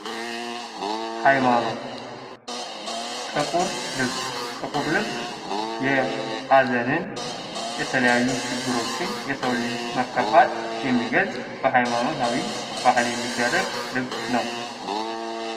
ሃይማኖት ። ጥቁር ልብስ ፡ ጥቁር ልብስ የሀዘንን የተለያዩ ችግሮችን የሰውን ልጅ መከፋት የሚገልጥ በሀይማኖታዊ ባህል የሚደረግ ልብስ ነው ።